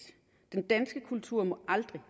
den danske kultur må aldrig